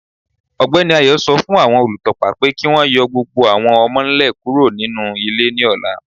Ọgbẹni Ayo sọ fún awọn olùtọ̀pà pé kí wọn yọ̀ gbogbo awọn ọmọ-nlẹ̀ kúrò nínu ilẹ̀ ni ọ̀là.